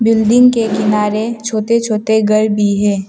Building के किनारे छोटे छोटे घर भी है।